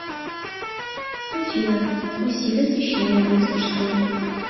афина усиль освещение в мастерской